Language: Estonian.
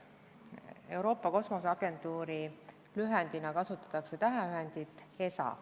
Euroopa Kosmoseagentuuri lühendina kasutatakse täheühendit ESA.